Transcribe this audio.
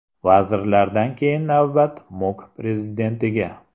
Vazirlardan keyin navbat MOQ prezidentiga.